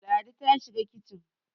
Ladi ta shiga kicin.